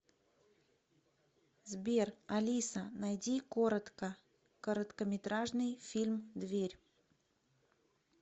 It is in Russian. сбер алиса найди коротко короткометражный фильм дверь